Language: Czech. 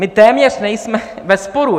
My téměř nejsme ve sporu.